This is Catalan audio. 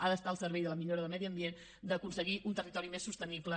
ha d’estar al servei de la millora del medi ambient d’aconseguir un territori més sostenible